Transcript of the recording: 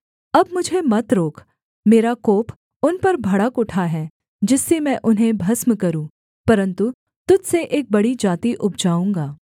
अब मुझे मत रोक मेरा कोप उन पर भड़क उठा है जिससे मैं उन्हें भस्म करूँ परन्तु तुझ से एक बड़ी जाति उपजाऊँगा